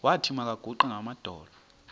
wathi makaguqe ngamadolo